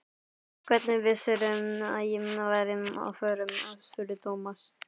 Hvernig vissirðu að ég væri á förum? spurði Thomas.